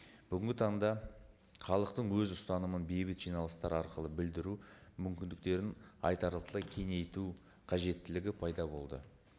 бүгінгі таңда халықтың өз ұстанымын бейбіт жиналыстар арқылы білдіру мүмкіндіктерін айтарлықтай кеңейту қажеттілігі пайда болды